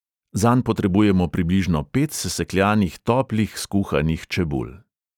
Zanj potrebujemo približno pet sesekljanih toplih, skuhanih čebul.